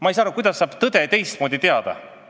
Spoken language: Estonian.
Ma ei saa aru, kuidas saab tõde teistmoodi teada saada.